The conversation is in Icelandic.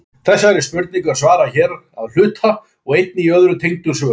þeirri spurningu er svarað hér að hluta og einnig í öðrum tengdum svörum